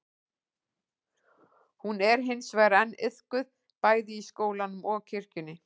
hún er hins vegar enn iðkuð bæði í skólanum og kirkjunni